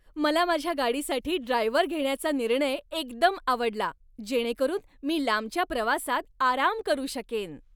मला माझ्या गाडीसाठी ड्रायव्हर घेण्याचा निर्णय एकदम आवडला, जेणेकरून मी लांबच्या प्रवासात आराम करू शकेन.